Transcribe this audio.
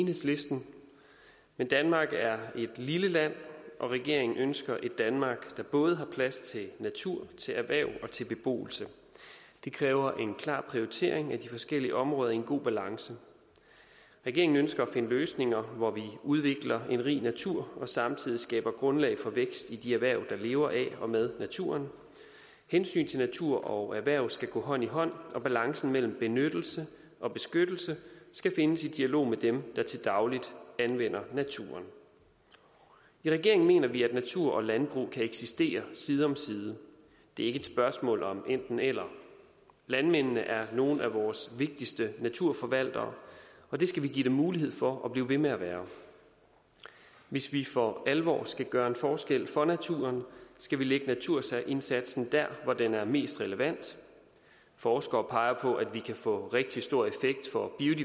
enhedslisten men danmark er et lille land og regeringen ønsker et danmark der både har plads til natur til erhverv og til beboelse det kræver en klar prioritering af de forskellige områder i en god balance regeringen ønsker at finde løsninger hvor vi udvikler en rig natur og samtidig skaber grundlag for vækst i de erhverv der lever af og med naturen hensynet til natur og erhverv skal gå hånd i hånd og balancen mellem benyttelse og beskyttelse skal findes i dialog med dem der til daglig anvender naturen i regeringen mener vi at natur og landbrug kan eksistere side om side det er ikke et spørgsmål om enten eller landmændene er nogle af vores vigtigste naturforvaltere og det skal vi give dem mulighed for at blive ved med at være hvis vi for alvor skal gøre en forskel for naturen skal vi lægge naturindsatsen der hvor den er mest relevant forskere peger på at vi kan få rigtig stor effekt for